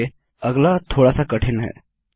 okay अगला थोडा सा कठिन है